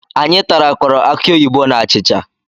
Anyi tarakọrọ akị oyibo na achịcha